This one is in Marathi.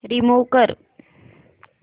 रिमूव्ह कर